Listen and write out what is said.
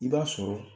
I b'a sɔrɔ